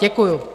Děkuji.